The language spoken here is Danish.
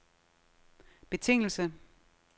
betingelse